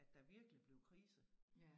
At der virkelig blev krise